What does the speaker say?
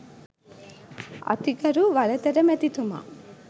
අතිගරු වලතර මැතිතුමා.